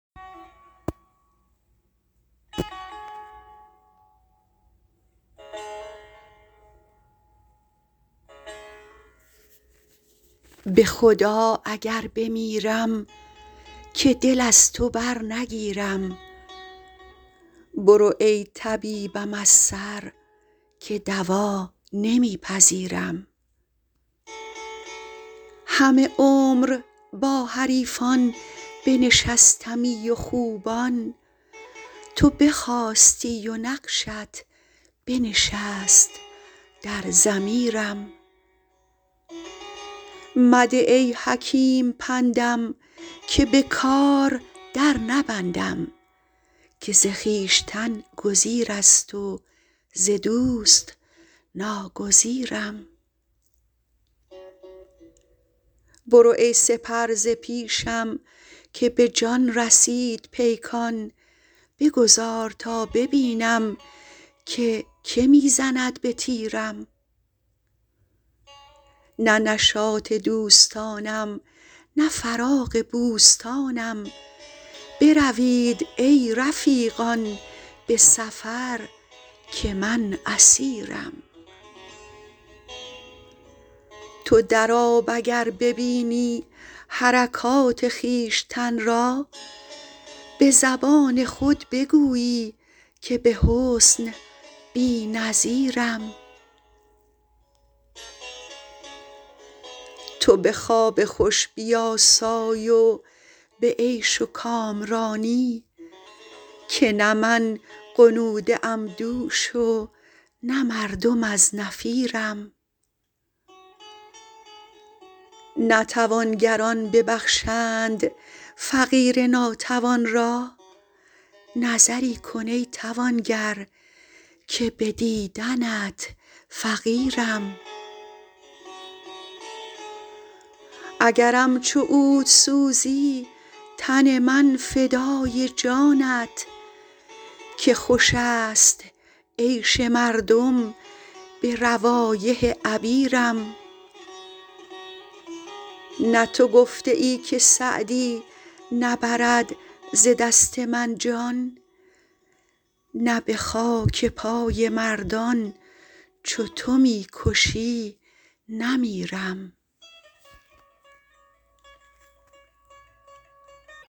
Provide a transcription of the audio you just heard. به خدا اگر بمیرم که دل از تو برنگیرم برو ای طبیبم از سر که دوا نمی پذیرم همه عمر با حریفان بنشستمی و خوبان تو بخاستی و نقشت بنشست در ضمیرم مده ای حکیم پندم که به کار در نبندم که ز خویشتن گزیر است و ز دوست ناگزیرم برو ای سپر ز پیشم که به جان رسید پیکان بگذار تا ببینم که که می زند به تیرم نه نشاط دوستانم نه فراغ بوستانم بروید ای رفیقان به سفر که من اسیرم تو در آب اگر ببینی حرکات خویشتن را به زبان خود بگویی که به حسن بی نظیرم تو به خواب خوش بیاسای و به عیش و کامرانی که نه من غنوده ام دوش و نه مردم از نفیرم نه توانگران ببخشند فقیر ناتوان را نظری کن ای توانگر که به دیدنت فقیرم اگرم چو عود سوزی تن من فدای جانت که خوش است عیش مردم به روایح عبیرم نه تو گفته ای که سعدی نبرد ز دست من جان نه به خاک پای مردان چو تو می کشی نمیرم